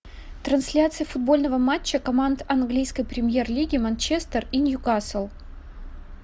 трансляция футбольного матча команд английской премьер лиги манчестер и ньюкасл